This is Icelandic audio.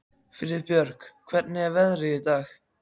Friðbjörg, hvernig er veðrið í dag?